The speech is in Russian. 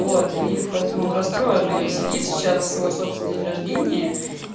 вот и поэтому он расстроенный сидит сейчас в свой собственный день рождения